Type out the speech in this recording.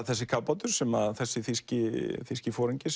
þessi kafbátur sem þessi þýski þýski foringi